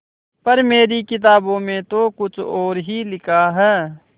पर मेरी किताबों में तो कुछ और ही लिखा है